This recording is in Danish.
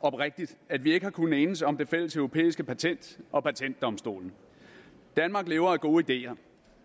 oprigtigt at vi ikke har kunnet enes om det fælles europæiske patent og patentdomstolen danmark lever af gode ideer